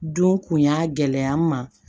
Don kun y'a gɛlɛya n ma